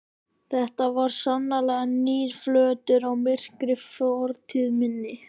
Þetta var sannarlega nýr flötur á myrkri fortíð minni.